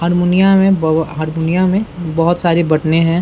हरमुनिया में बव हरमुनिया में बहुत सारी बटने है।